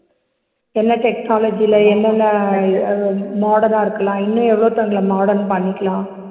என்ன technology ல என்னென்ன அது வ modern ஆ இருக்கலாம் இன்னும் எவ்ளோ modern பண்ணிக்கலாம்